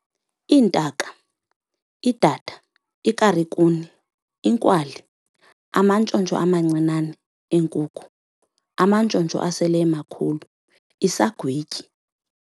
Iintaka- Idada, ikarikuni, inkwali, amantshontsho amancinane, eenkuku, amantshontsho aselemakhulu, isagwityi